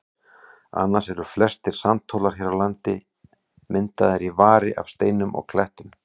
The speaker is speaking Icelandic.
Annars eru flestir sandhólar hér á landi myndaðir í vari af steinum og klettum.